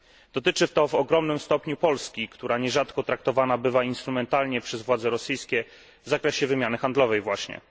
Dotyczy to w ogromnym stopniu Polski, która nierzadko traktowana bywa instrumentalnie przez władze rosyjskie, w zakresie wymiany handlowej właśnie.